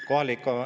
Palun lisaaega.